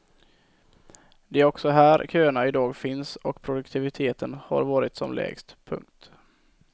Det är också här köerna i dag finns och produktiviteten har varit som lägst. punkt